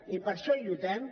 i per això lluitem